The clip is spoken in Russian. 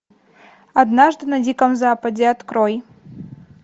однажды на диком западе открой